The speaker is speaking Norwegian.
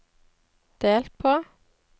delt på